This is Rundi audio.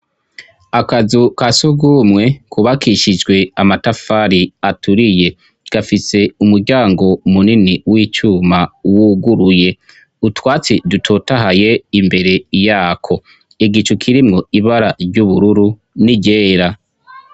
Akazu ka sugumwe kubakishijwe amatafari aturiye gafise umuryango munini w'icuma wuguruye, utwatsi dutotahaye imbere yako, igicu kirimwo ibara ry'ubururu n'iryera.